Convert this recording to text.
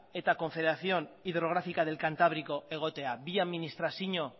eta confederación hidrográfica del cantabrico egotea bi administrazio